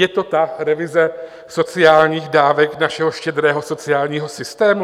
Je to ta revize sociálních dávek našeho štědrého sociálního systému?